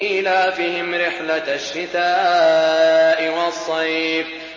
إِيلَافِهِمْ رِحْلَةَ الشِّتَاءِ وَالصَّيْفِ